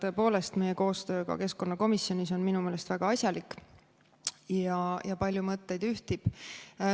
Tõepoolest, meie koostöö ka keskkonnakomisjonis on minu meelest väga asjalik ja paljud mõtted ühtivad.